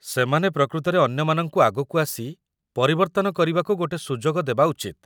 ସେମାନେ ପ୍ରକୃତରେ ଅନ୍ୟମାନଙ୍କୁ ଆଗକୁ ଆସି ପରିବର୍ତ୍ତନ କରିବାକୁ ଗୋଟେ ସୁଯୋଗ ଦେବା ଉଚିତ୍ ।